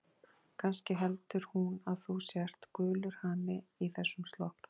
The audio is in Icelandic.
Kannski heldur hún að þú sért gulur hani í þessum slopp.